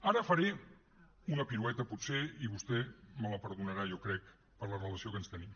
ara faré una pirueta potser i vostè me la perdonarà jo crec per la relació que ens tenim